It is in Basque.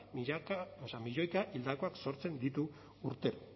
milioika hildakoak sortzen ditu urtero